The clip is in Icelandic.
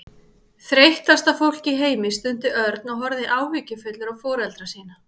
Þreyttasta fólk í heimi stundi Örn og horfði áhyggjufullur á foreldra sína.